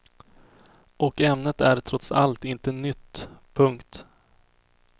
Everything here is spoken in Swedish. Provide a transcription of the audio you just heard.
Och ämnet är trots allt inte nytt. punkt